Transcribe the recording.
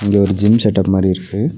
இது ஒரு gym setup மாரி இருக்கு.